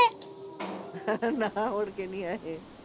ਨਾਹ ਮੁੜ ਕੇ ਨੀਂ ਆਏ।